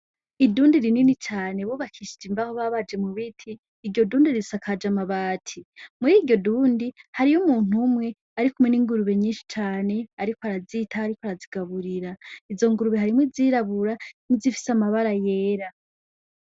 Idundi rinini cane bubakishije imbahu babaje mu biti iryo dundi risakaje amabati, muri iryo dundi hariyo umuntu umwe arikumwe ni ingurube nyinshi cane ariko arazitaho ariko arazigaburira izo ngurube harimwo izirabura nizifise amabara yera.